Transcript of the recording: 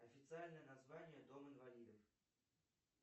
официальное название дом инвалидов